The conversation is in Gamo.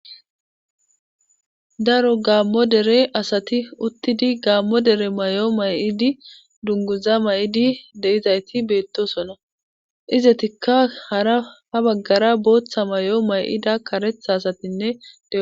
Daro gaammo dare asati uttidi gaammo dere may7o may7idi dubgguza may7idi de7izayti beettoosona izatikka hara ha baggara bootha may7o may7ida karetha asatinne de7o.